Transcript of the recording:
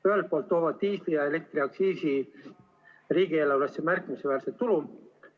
Ühelt poolt toovad diisli‑ ja elektriaktsiis riigieelarvesse märkimisväärset tulu.